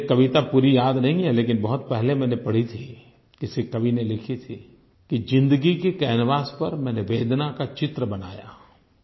मुझे कविता पूरी याद नहीं है लेकिन बहुत पहले मैंने पढी थी किसी कवि ने लिखी थी कि ज़िन्दगी के कैनवास पर मैंने वेदना का चित्र बनाया